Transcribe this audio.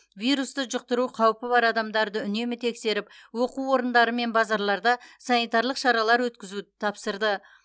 вирусты жұқтыру қаупі бар адамдарды үнемі тексеріп оқу орындары мен базарларда санитарлық шаралар өткізуді тапсырды